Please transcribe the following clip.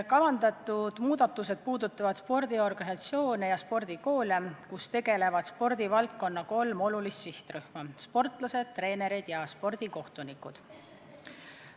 Kavandatud muudatused puudutavad spordiorganisatsioone ja spordikoole, kus tegutsevad spordivaldkonna kolm olulist sihtrühma: sportlased, treenerid ja spordikohtunikud.